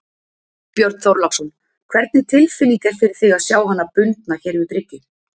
Björn Þorláksson: Hvernig tilfinning er fyrir þig að sjá hana bundna hér við bryggju?